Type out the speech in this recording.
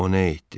o nə etdi?